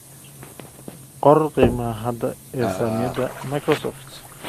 qor qiimaha hadda ee saamiyada Microsoft